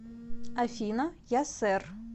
афина я сэр